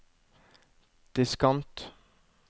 diskant